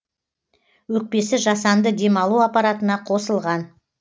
өкпесі жасанды демалу аппаратына қосылған